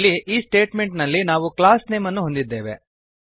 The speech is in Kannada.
ಇಲ್ಲಿ ಈ ಸ್ಟೇಟಮೆಂಟ್ ನಲ್ಲಿ ನಾವು ಕ್ಲಾಸ್ ನೇಮ್ ಅನ್ನು ಹೊಂದಿದ್ದೇವೆ